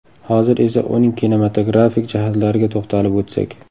Hozir esa uning kinematografik jihatlariga to‘xtalib o‘tsak.